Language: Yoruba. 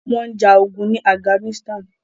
Wọ́n ń ja ogun ní Afghanistan.